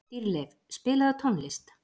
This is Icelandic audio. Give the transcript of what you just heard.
Dýrleif, spilaðu tónlist.